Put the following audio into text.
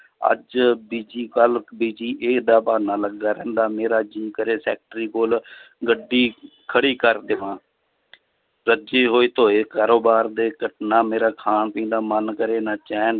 ਅੱਜ busy ਕੱਲ੍ਹ busy ਇਹ ਦਾ ਬਹਾਨਾ ਲੱਗਾ ਰਹਿੰਦਾ ਮੇਰੇ ਜੀਅ ਕਰੇ ਸੈਕਟਰੀ ਕੋਲ ਗੱਡੀ ਖੜੀ ਕਰ ਦੇਵਾਂ ਰੱਜੇ ਹੋਏ ਧੋਏ ਘਰੋ ਬਾਹਰ ਨਾ ਮੇਰਾ ਖਾਣ ਪੀਣ ਦਾ ਮਨ ਕਰੇ ਨਾ ਚੈਨ